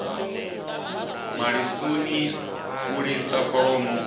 ya malisoni u lisa kholomo